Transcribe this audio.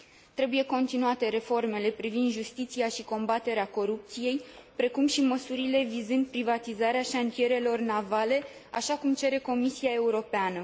Trebuie continuate reformele privind justiția și combaterea corupției, precum și măsurile vizând privatizarea șantierelor navale, așa cum cere Comisia Europeană.